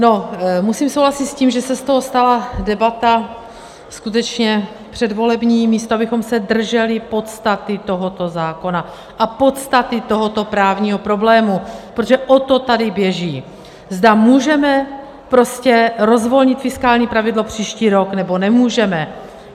No, musím souhlasit s tím, že se z toho stala debata skutečně předvolební, místo abychom se drželi podstaty tohoto zákona a podstaty tohoto právního problému, protože o to tady běží, zda můžeme prostě rozvolnit fiskální pravidlo příští rok, nebo nemůžeme.